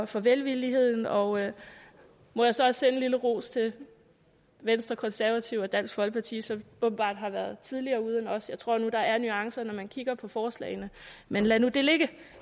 for velvilligheden og jeg må så også sende en lille ros til venstre konservative og dansk folkeparti som åbenbart har været tidligere ude end os jeg tror nu at der er nuancer når man kigger på forslagene men lad nu det ligge